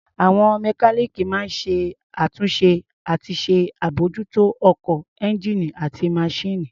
Àwọn mọkáníìkì máa ń ṣàtúnṣe àti ṣàbmójútó ọkọ̀, ẹ́ńgíìnì àti maṣíìnì.